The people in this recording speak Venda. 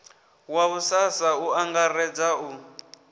wa ussasa u angaredza u